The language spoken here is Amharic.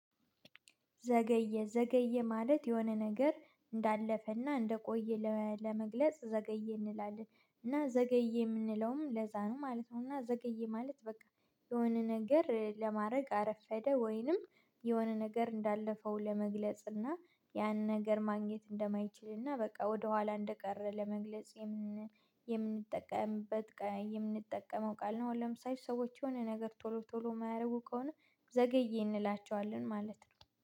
ዘገየ ዘገየ ማለት የሆነ ነገር እንዳለፈና እንደቆየ ለመግለጽ ዘገየ እንላለን እና ዘገየ የምንለውም ለዛ ነው ማለት ነው። እና ዘገየ ማለት በቃ የሆነ ነገር ለማድረግ አረፈደ ወይንም የሆነ ነገር እንዳለፈው ለመግለጽ እና ያን ነገር ማግኘት እንደማይችልና በቃ ወደኋላ እንደቀረ ለመግለጽ የምንጠቀምበት የምንጠቀመው ቃል ነው። ለምሳሌ ሰዎች የሆነ ነገር ቶሎ ቶሎ የማያደርጉ ከሆነ ዘገየ እንላቸዋለን ማለት ነው